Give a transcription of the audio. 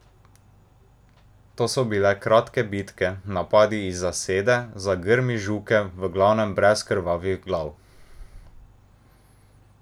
To so bile kratke bitke, napadi iz zasede, za grmi žuke, v glavnem brez krvavih glav.